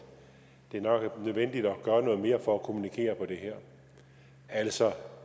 det nok er nødvendigt at gøre noget mere for at kommunikere om det her altså